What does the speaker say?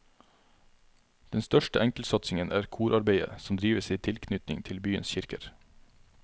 Den største enkeltsatsingen er korarbeidet som drives i tilknytning til byens kirker.